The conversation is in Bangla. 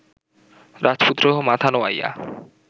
রাজপুত্র মাথা নোয়াইয়া